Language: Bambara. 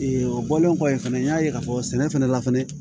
o bɔlen kɔfɛ fɛnɛ n y'a ye k'a fɔ sɛnɛ fana la fɛnɛ